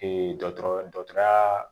dɔkɔtɔrɔ dɔyaa